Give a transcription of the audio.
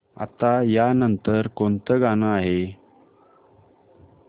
आता या नंतर कोणतं गाणं आहे